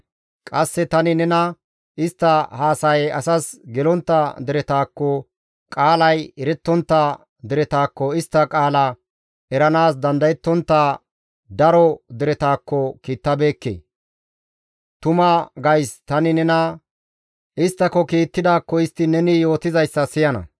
Qasse tani nena istta haasayay asas gelontta deretakko, qaalay erettontta deretakko, istta qaala eranaas dandayettontta daro deretakko kiittabeekke; tuma gays tani nena isttako kiittidaakko istti neni yootizayssa siyana.